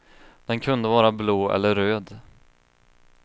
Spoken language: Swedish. Den kunde vara blå eller röd.